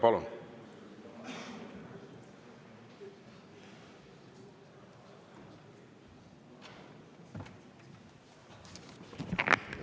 Palun!